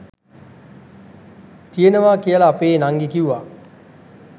තියෙනවා කියලා අපෙ නංගි කිව්වා.